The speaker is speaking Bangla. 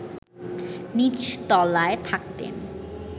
নীচ তলায় থাকতেন